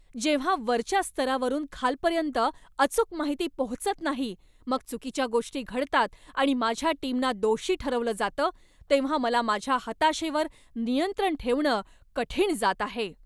जेव्हा वरच्या स्तरावरून खालपर्यन्त अचूक माहिती पोहोचत नाही, मग चुकीच्या गोष्टी घडतात आणि माझ्या टीमना दोषी ठरवलं जातं, तेव्हा मला माझ्या हताशेवर नियंत्रण ठेवणं कठीण जात आहे.